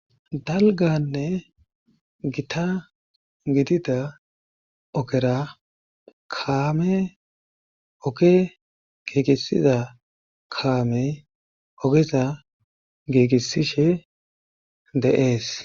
Dalganne gita gidida okera kaame oke giigisiza kaamey ogeza giigissishe dees.